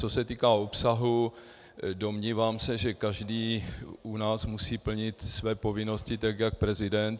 Co se týká obsahu, domnívám se, že každý u nás musí plnit své povinnosti tak jak prezident.